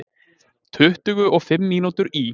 Tuttugu og fimm mínútur í